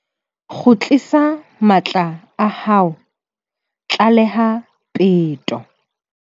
Kgutlisa matla a hao, tlaleha peto